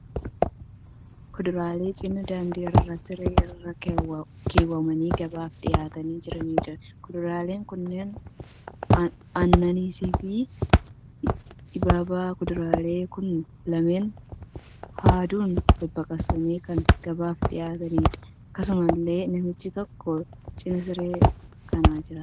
Kuduraalee cina daandii irra siree irra kaawwamanii gabaaf dhiyaatanii jiraniidha. Kuduraaleen kunneen anaanaasii fi ibaaba. Kuduraan kun lameen haaduun baqaqsanii kan gabaaf dhiyaataniidha. Akkasumallee namichi tokko cina siree kanaa jira.